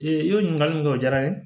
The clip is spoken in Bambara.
Ee o ɲininkali jɔra n ye